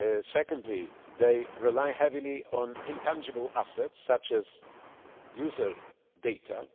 Secondly, they rely heavily on intangible assets such as user data.